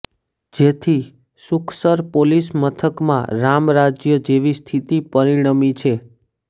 જેથી સુખસર પોલીસ મથકમાં રામરાજ્ય જેવી સ્થિતિ પરિણમી છે